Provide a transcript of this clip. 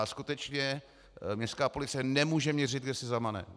A skutečně městská policie nemůže měřit, kde si zamane.